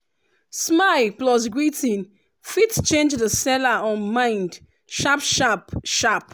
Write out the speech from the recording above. smile plus greeting fit change the seller um mind sharp-sharp sharp